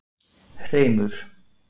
Hreimur